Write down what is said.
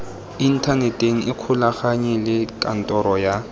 inthaneteng ikgolaganye le kantoro ya